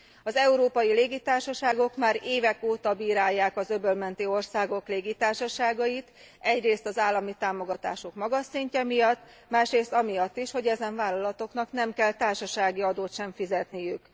Az európai légitársaságok már évek óta bírálják az öböl menti országok légitársaságait, egyrészt az állami támogatások magas szintje miatt, másrészt amiatt is, hogy ezen vállalatoknak nem kell társasági adót sem fizetniük.